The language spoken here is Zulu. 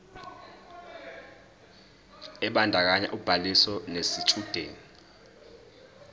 ebandakanya ubhaliso yesitshudeni